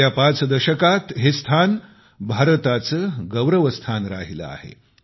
गेल्या पाच दशकांत हे स्थान भारताचे गौरवस्थान राहिले आहे